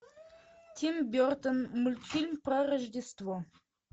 тим бертон мультфильм про рождество